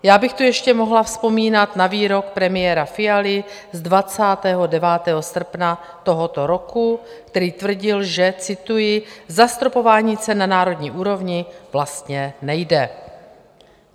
Já bych tu ještě mohla vzpomínat na výrok premiéra Fialy z 29. srpna tohoto roku, který tvrdil, že - cituji - zastropování cen na národní úrovni vlastně nejde.